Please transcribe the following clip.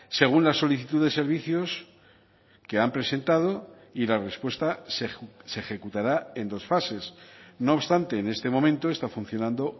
según la solicitud de servicios que han presentado y la respuesta se ejecutará en dos fases no obstante en este momento está funcionando